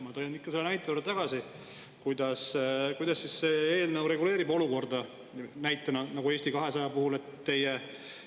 Ma tulen ikka tagasi selle näite juurde: kuidas reguleerib see eelnõu olukorda, mis oli näiteks Eesti 200 puhul?